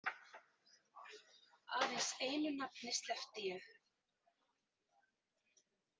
Aðeins einu nafni sleppti ég.